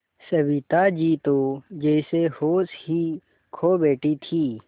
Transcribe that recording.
सविता जी तो जैसे होश ही खो बैठी थीं